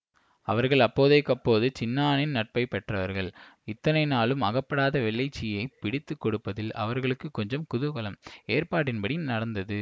அவர்கள் அப்போதைக்கப்போது சின்னானின் நட்பை பெற்றவர்கள் இத்தனை நாளும் அகப்படாத வெள்ளைச்சியைப் பிடித்து கொடுப்பதில் அவர்களுக்கு கொஞ்சம் குதூகலம் ஏற்பாட்டின்படி நடந்தது